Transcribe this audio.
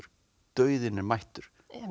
dauðinn er mættur